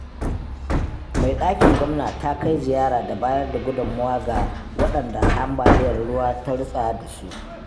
Mai ɗakin gwamna ta kai ziyara da bayar da gudummawa ga waɗada ambaliyar ruwa ta rutsa da su.